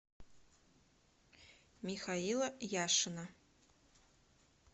михаила яшина